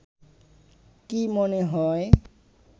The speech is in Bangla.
কি মনে হয়